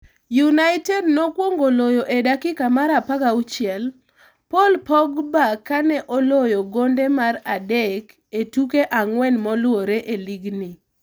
United nokwongo loyo e dakika mar 16 Paul Pogba kane oloyo gonde mar adek e tuke ang'wen moluore e lig ni.